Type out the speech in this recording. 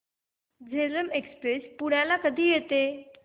Jhelum Express पुण्याला कधी येते